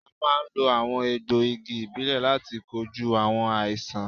À máa ń lo àwọn egbò igi ìbílè láti kojú àwọn àìsàn